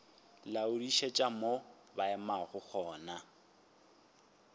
laodišetša mo ba emego gona